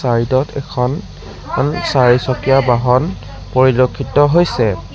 Side ত এখন এখন চাৰিচকীয়া বাহন পৰিলক্ষিত হৈছে।